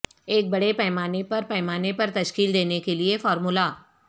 ایک بڑے پیمانے پر پیمانے پر تشکیل دینے کے لئے فارمولہ